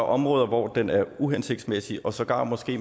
områder hvor den er uhensigtsmæssig og sågar måske